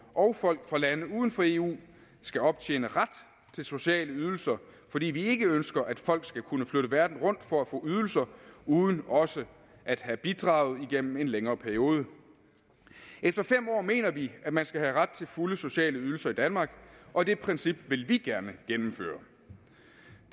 og folk fra lande uden for eu skal optjene ret til sociale ydelser fordi vi ikke ønsker at folk skal kunne flytte verden rundt for at få ydelser uden også at have bidraget igennem en længere periode efter fem år mener vi at man skal have ret til fulde sociale ydelser i danmark og det princip vil vi gerne gennemføre